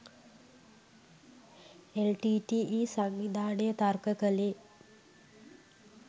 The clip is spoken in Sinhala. එල්.ටී.ටී.ඊ. සංවිධානය තර්ක කළේ